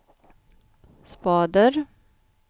spader